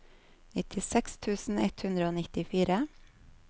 nittiseks tusen ett hundre og nittifire